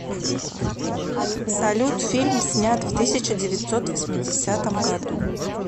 салют фильм снят в тысяча девятьсот восьмидесятом году